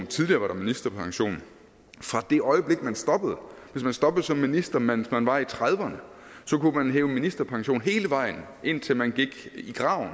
tidligere var ministerpension fra det øjeblik man stoppede hvis man stoppede som minister mens man var i trediverne så kunne man hæve ministerpension hele vejen indtil man gik i graven